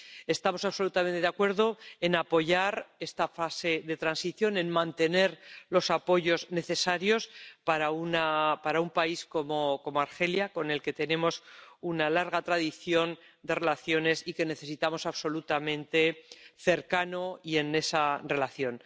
Estamos absolutamente de acuerdo en apoyar esta fase de transición, en mantener los apoyos necesarios para con un país como Argelia, con el que tenemos una larga tradición de relaciones y que necesitamos absolutamente, cercano y con esa relación.